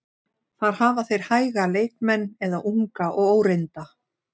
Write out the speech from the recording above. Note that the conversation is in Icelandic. Þar hafa þeir hæga leikmenn eða unga og óreynda.